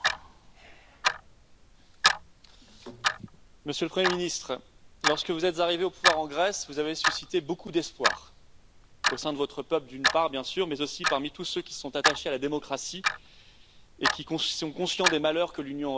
Monsieur le Président, Monsieur le Premier ministre, lorsque vous êtes arrivé au pouvoir en Grèce, vous avez suscité beaucoup d'espoir au sein de votre peuple, d'une part, bien sûr, mais aussi parmi tous ceux qui sont attachés à la démocratie et qui sont conscients des malheurs que l'Union européenne inflige aux peuples.